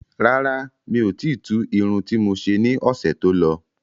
Rárá, miò ti tu Irun ti mo ṣe ní ọ̀sẹ̀ tó lọ